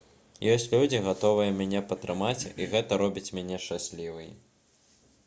ёсць людзі гатовыя мяне падтрымаць і гэта робіць мяне шчаслівай